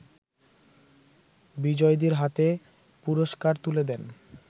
বিজয়ীদের হাতে পুরষ্কার তুলে দেন